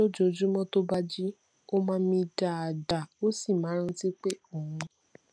lójoojúmó tó bá jí ó máa ń mí dáadáa ó sì máa ń rántí pé òun